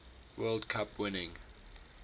world cup winning